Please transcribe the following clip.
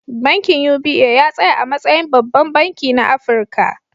Bankin UBA ya tsaya a matsayin babban banki na Afirka.